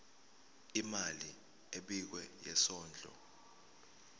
imali ebekiwe yesondlo